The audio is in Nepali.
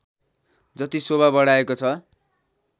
जति शोभा बढाएको छ